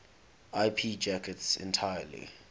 ip packets entirely